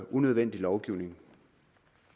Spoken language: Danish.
unødvendig lovgivning